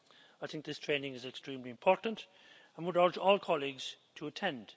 I think this training is extremely important and I would urge all colleagues to attend.